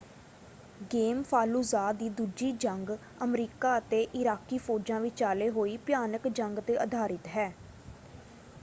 Game Fallujah ਦੀ ਦੂਜੀ ਜੰਗ ਅਮਰੀਕਾ ਅਤੇ ਇਰਾਕੀ ਫੌਜਾਂ ਵਿਚਾਲੇ ਹੋਈ ਭਿਆਨਕ ਜੰਗ ‘ਤੇ ਆਧਾਰਿਤ ਹੈ।